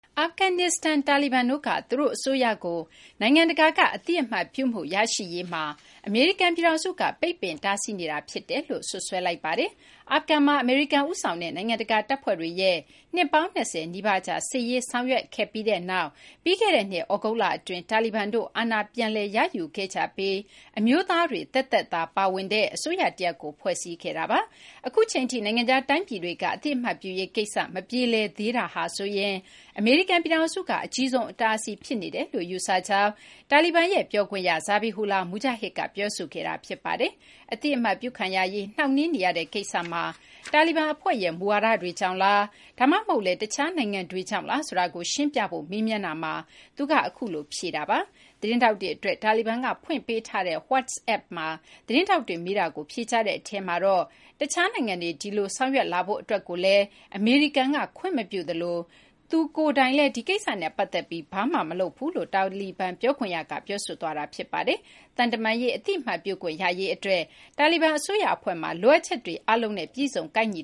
အာဖဂန်နစ္စတန် တာလီဘန်တို့က သူတို့ အစိုးရကို နိုင်ငံတကာက အသိအမှတ်ပြုမှု ရရှိရေးမှာ အမေရိကန် ပြည်ထောင်စုက ပိတ်ပင် တားဆီးနေတာ ဖြစ်တယ်လို့ စွပ်စွဲလိုက်ပါတယ်။ အာဖဂန်မှာ အမေရိကန် ဦးဆောင်တဲ့ နိုင်ငံတကာ တပ်ဖွဲ့တွေရဲ့ နှစ်ပေါင်း ၂၀ နီးပါးကြာ စစ်ရေးဆောင်ရွက်ခဲ့ကြပြီးနောက် ပြီးခဲ့တဲ့နှစ် သြဂုတ်လအတွင်း တာလီဘန်တို့က အာဏာ ပြန်လည် ရယူခဲ့ကြပြီး အမျိုးသားတွေ သက်သက်သာ ပါဝင်တဲ့ အစိုးရ တရပ်ကို ဖွဲ့စည်းခဲ့တာပါ။ အခုအချိန်ထိ နိုင်ငံခြား တိုင်းပြည်တွေက အသိအမှတ်ပြုရေး ကိစ္စ မပြေလည်သေးတဲ့ ကိစ္စမှာ ဆိုရင် အမေရိကန် ပြည်ထောင်စုက အကြီးဆုံး အတားအဆီး ဖြစ်နေတယ်လို့ ယူဆကြောင်း တာလီဘန်ရဲ့ ပြောခွင့်ရ Zabihullah Mujahid က ပြောဆိုခဲ့တာ ဖြစ်ပါတယ်။ အသိအမှတ်ပြုခံရရေး နှောင့်နှေးနေရတဲ့ ကိစ္စမှာ တာလီဘန် အဖွဲ့ရဲ့ မူဝါဒတွေကြောင့်လား ဒါမှမဟုတ်လည်း တခြား နိုင်ငံတွေကြောင့်လား ဆိုတာကို ရှင်းပြဖို့ မေးမြန်းတာမှာ သူက အခုလို ဖြေခဲ့တာ ဖြစ်ပါတယ်။ သတင်းထောက်တွေ အတွက် တာလီဘန်က ဖွင့်ပေးထားတဲ့ WhatsApp မှာ သတင်းထောက်တွေ မေးတာကို ဖြေကြားတဲ့ အထဲမှာတော့ တခြားနိုင်ငံတွေ ဒီလို ဆောင်ရွက်လာဖို့ အတွက်ကိုလည်း အမေရိကန်က ခွင့်မပြုသလို သူကိုယ်တိုင်ကလည်း ဒီကိစ္စနဲ့ ပတ်သက်ပြီး ဘာမှ မလုပ်ဘူးလို့ တာလီဘန် ပြောခွင့်ရက ပြောဆိုခဲ့တာ ဖြစ်ပါတယ်။ သံတမန်ရေး အသိအမှတ်ပြုခွင့် ရရေး အတွက် တာလီဘန် အစိုးရ အဖွဲ့မှာ လိုအပ်ချက်တွေ အားလုံးနဲ့ ပြည့်စုံ ကိုက်ညီ